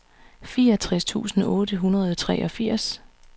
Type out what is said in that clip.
fireogtres tusind otte hundrede og treogfirs